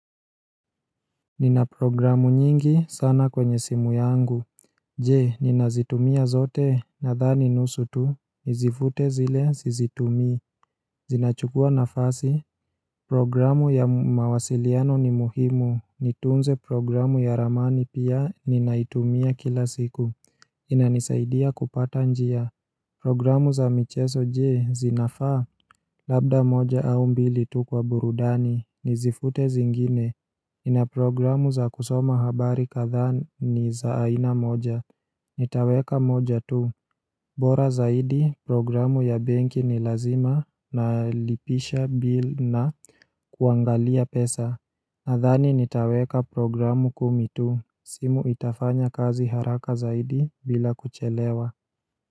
Nina programu nyingi sana kwenye simu yangu Je nina zitumia zote na dhani nusu tu Nizifute zile sizitumii Zinachukua nafasi Programu ya mawasiliano ni muhimu nitunze programu ya ramani pia ninaitumia kila siku inanisaidia kupata njia Programu za michezo je zinafaa Labda moja au mbili tu kwa burudani nizifute zingine ina programu za kusoma habari kadhaa ni za aina moja Nitaweka moja tu bora zaidi programu ya benki ni lazima na lipisha bil na kuangalia pesa Nadhani nitaweka programu kumi tu simu itafanya kazi haraka zaidi bila kuchelewa.